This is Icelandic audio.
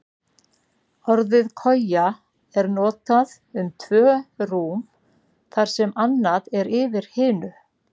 Orðið koja er notað um tvö rúm þar sem annað er yfir hinu.